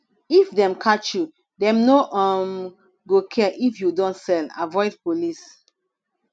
if dem catch you dem no um go care if you don sell avoid police